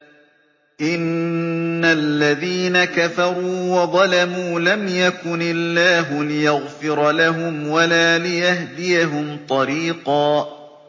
إِنَّ الَّذِينَ كَفَرُوا وَظَلَمُوا لَمْ يَكُنِ اللَّهُ لِيَغْفِرَ لَهُمْ وَلَا لِيَهْدِيَهُمْ طَرِيقًا